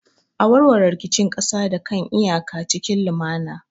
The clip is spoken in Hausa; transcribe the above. A warware rikicin kasa da kan iyaka cikin lumana.